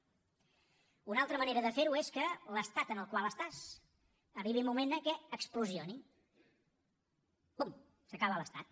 una altra manera de fer ho és que l’estat en el qual estàs arribi un moment en què exploti pum s’acaba l’estat